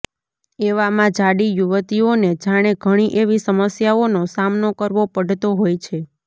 એવામાં જાડી યુવતીઓને જાણે ઘણી એવી સમસ્યાઓનો સામનો કરવો પડતો હોય છે